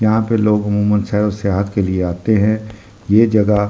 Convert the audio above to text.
यहां पे लोग अमूमन सैर और सेहत के लिए आते हैं ये जगह --